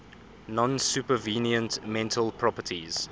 non supervenient mental properties